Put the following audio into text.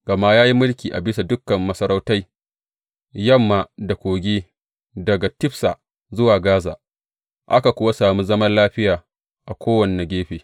Gama ya yi mulki a bisa dukan masarautai yamma da Kogi, daga Tifsa zuwa Gaza, aka kuwa sami zaman lafiya a kowane gefe.